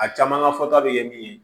A caman ka fɔta bɛ ye min ye